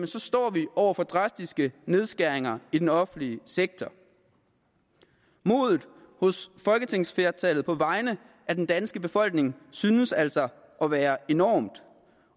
så står vi over for drastiske nedskæringer i den offentlige sektor modet hos folketingsflertallet på vegne af den danske befolkning synes altså at være enormt